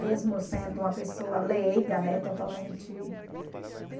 Mesmo sendo uma pessoa leiga, né, totalmente